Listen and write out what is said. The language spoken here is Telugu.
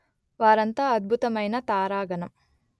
వారంతా అద్భుతమైన తారాగణం